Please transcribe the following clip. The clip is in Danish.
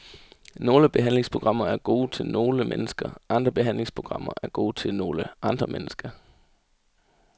Nogle behandlingsprogrammer er gode til nogle mennesker, andre behandlingsprogrammer er gode til nogle andre mennesker.